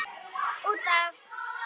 Út af.